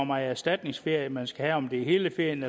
meget erstatningsferie man skal have om det er hele ferien